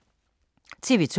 TV 2